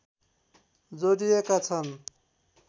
जोडिएका छन्